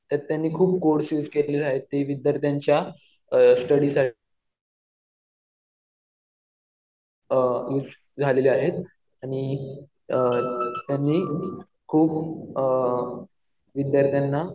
तर त्यांनी खूप कोड्स युज केलेले आहेत. ते विद्यार्थ्यांच्या स्टडीसाठी झालेले आहेत. आणि त्यांनी खूप विद्यार्थ्यांना